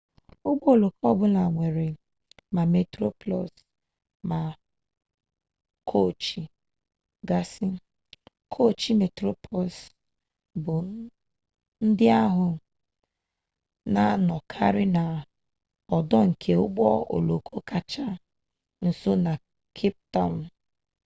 ụgbọ oloko ọ bụla nwere ma metroplus ma koochi gasị koochi metroplus ndị ahụ na-anọkarị n'ọdụ nke ụgbọ oloko kacha nso na cape town